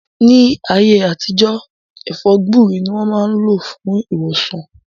Ni aye atijọ, È̩fó̩ gbúre ni wọn maa n lo fun iwosan.